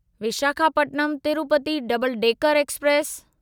Visakhapatnam Tirupati double decker express